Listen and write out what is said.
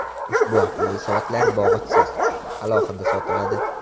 Ushbu aqlli soatlar bog‘ichisiz, alohida sotiladi.